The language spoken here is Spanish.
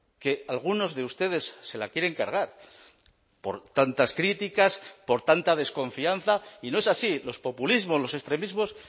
que algunos de ustedes se la quieren cargar por tantas críticas por tanta desconfianza y no es así los populismos los extremismos